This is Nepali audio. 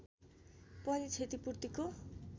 पनि क्षतिपूर्तिको